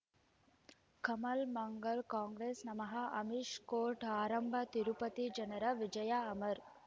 ಕಮಲ್ ಮಂಗಳ್ ಕಾಂಗ್ರೆಸ್ ನಮಃ ಅಮಿಷ್ ಕೋರ್ಟ್ ಆರಂಭ ತಿರುಪತಿ ಜನರ ವಿಜಯ ಅಮರ್